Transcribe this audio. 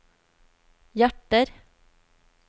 hjerter